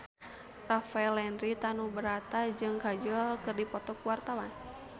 Rafael Landry Tanubrata jeung Kajol keur dipoto ku wartawan